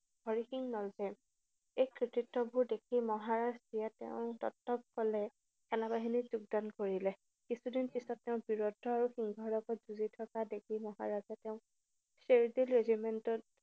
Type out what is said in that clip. হৰি সিং নলৱাই। এই কীৰ্তিত্তবোৰ দেখি মহাৰাজে তেওঁৰ দত্তক কলে। সেনাবাহিনীত যোগদান কৰিলে। কিছুদিন পিছত তেওঁক বীৰত্ব আৰু যুঁজি থকা দেখি মহাৰাজে তেওঁক চেৰতল regiment ত